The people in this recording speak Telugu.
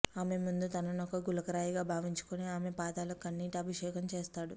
ఆమె ముందు తననొక గులకరాయిగా భావించుకుని ఆమె పాదాలకు కన్నీటి అభిషేకం చేస్తాడు